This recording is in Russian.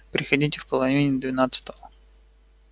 приходите в половине двенадцатого